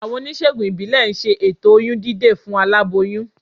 Àwọn oníṣègùn ìbílẹ̀ ń ṣe ètò oyún dídè fún aláboyún